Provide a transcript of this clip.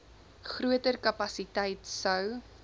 groter kapasiteit sou